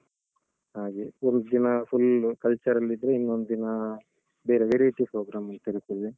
ಹಾಗೆ. ಒಂದ್ದಿನ full cultural ಇದ್ರೆ, ಇನ್ನೊಂದಿನ ಬೇರೆ ಬೇರೆ ರೀತಿ program ಅಂತ್ ಇರ್ತದೆ.